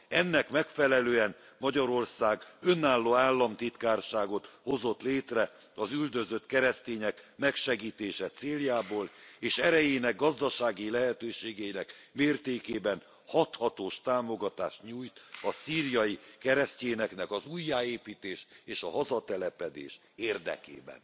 Ennek megfelelően Magyarország önálló államtitkárságot hozott létre az üldözött keresztények megsegítése céljából, és erejének, gazdasági lehetőségeinek mértékében hathatós támogatást nyújt a szíriai keresztényeknek az újjáépítés és a hazatelepedés érdekében